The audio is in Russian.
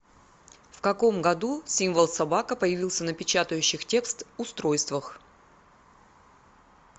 в каком году символ собака появился на печатающих текст устройствах